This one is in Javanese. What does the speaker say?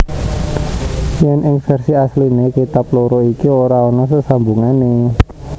Yen ing versi asliné kitab loro iki ora ana sesambungané